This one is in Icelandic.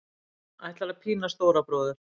Ætlar að pína stóra bróður